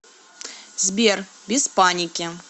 сбер без паники